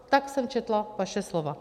Tak jsem četla vaše slova.